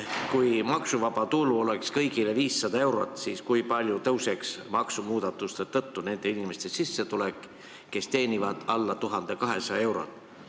Kui maksuvaba tulu oleks kõigil 500 eurot, siis kui palju tõuseks maksumuudatuste tõttu nende inimeste sissetulek, kes teenivad alla 1200 euro?